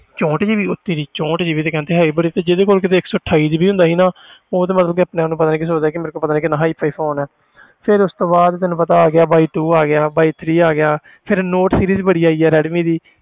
ਚੋਂਹਠ GB ਉਹ ਤੇਰੀ ਚੋਂਹਠ GB ਤੇ ਕਹਿੰਦੇ high ਬੜੀ ਤੇ ਜਿਹਦੇ ਕੋਲ ਵੀ ਇੱਕ ਸੌ ਅਠਾਈ GB ਹੁੰਦਾ ਸੀ ਨਾ ਉਹ ਤੇ ਮਤਲਬ ਕਿ ਆਪਣੇ ਆਪ ਨੂੰ ਪਤਾ ਨੀ ਕੀ ਸੋਚਦਾ ਸੀ ਕਿ ਮੇਰੇ ਕੋਲ ਪਤਾ ਨੀ ਕਿੰਨਾ hi-fi phone ਹੈ ਫਿਰ ਉਸ ਤੋਂ ਬਾਅਦ ਤੈਨੂੰ ਪਤਾ ਆ ਗਿਆ y two ਆ ਗਿਆ y three ਆ ਗਿਆ ਫਿਰ note series ਬੜੀ ਆਈ ਆ ਰੈਡਮੀ ਦੀ